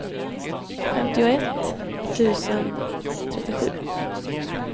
femtioett tusen trettiosju